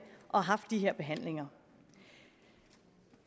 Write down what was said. og haft de her behandlinger